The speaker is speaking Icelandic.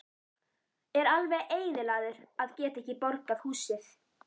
Er alveg eyðilagður að geta ekki borgað húsið.